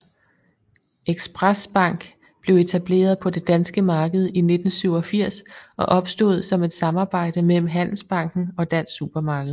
Express Bank blev etableret på det danske marked i 1987 og opstod som et samarbejde mellem Handelsbanken og Dansk Supermarked